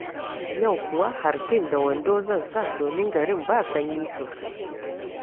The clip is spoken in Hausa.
Yau kuwa hartin da wando zan sa domin garin ba sanyi sosai